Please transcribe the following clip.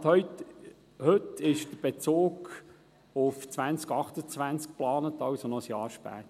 Stand heute ist der Bezug auf 2028 geplant, also noch ein Jahr später.